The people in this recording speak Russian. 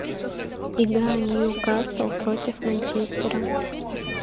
игра ньюкасл против манчестера